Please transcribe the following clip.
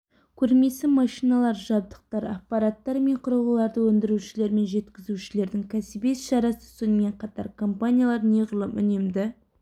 көрмесі машиналар жабдықтар аппараттар мен құрылғыларды өндірушілер мен жеткізушілердің кәсіби іс-шарасы сонымен қатар компаниялар неғұрлым үнемді